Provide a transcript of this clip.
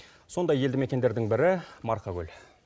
сондай елді мекендердің бірі марқакөл